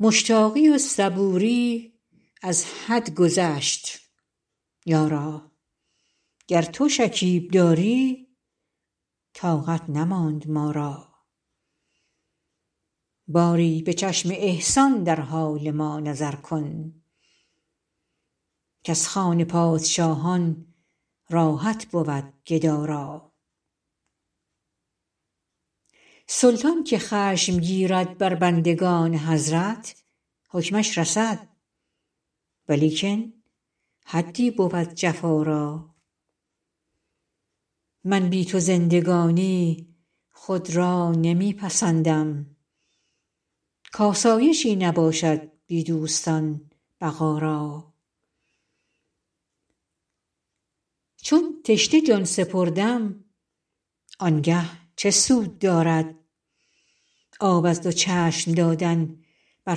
مشتاقی و صبوری از حد گذشت یارا گر تو شکیب داری طاقت نماند ما را باری به چشم احسان در حال ما نظر کن کز خوان پادشاهان راحت بود گدا را سلطان که خشم گیرد بر بندگان حضرت حکمش رسد ولیکن حدی بود جفا را من بی تو زندگانی خود را نمی پسندم کآسایشی نباشد بی دوستان بقا را چون تشنه جان سپردم آن گه چه سود دارد آب از دو چشم دادن بر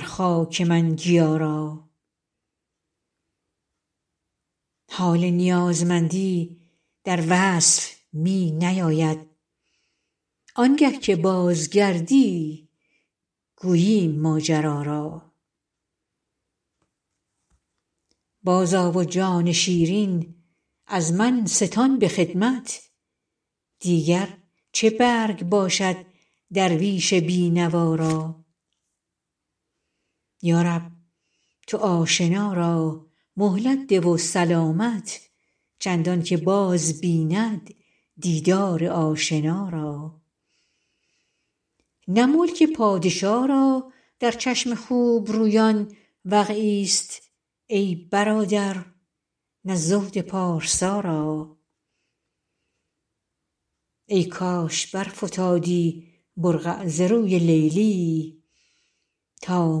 خاک من گیا را حال نیازمندی در وصف می نیاید آن گه که بازگردی گوییم ماجرا را بازآ و جان شیرین از من ستان به خدمت دیگر چه برگ باشد درویش بی نوا را یا رب تو آشنا را مهلت ده و سلامت چندان که باز بیند دیدار آشنا را نه ملک پادشا را در چشم خوب رویان وقعی ست ای برادر نه زهد پارسا را ای کاش برفتادی برقع ز روی لیلی تا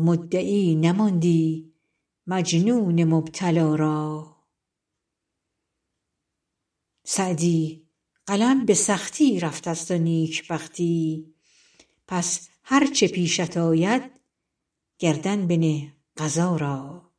مدعی نماندی مجنون مبتلا را سعدی قلم به سختی رفته ست و نیک بختی پس هر چه پیشت آید گردن بنه قضا را